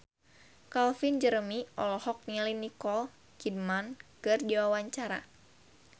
Calvin Jeremy olohok ningali Nicole Kidman keur diwawancara